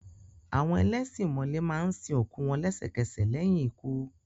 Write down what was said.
Àwọn ẹlẹ́ṣin ìmọ̀le máa ń sin òkú wọn lẹ́sẹ̀kẹsẹ̀ lẹ́yìn ikú.